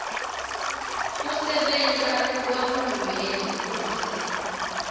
kusebenta kwahulumende kute